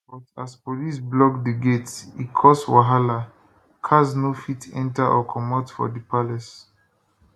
but as police block di gate e cause wahala cars no fit enter or comot from di palace